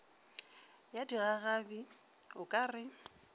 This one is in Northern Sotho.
ya digagabi o ka re